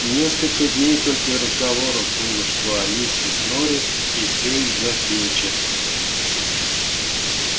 несколько дней только и разговоров было что о миссис норрис и все из-за филча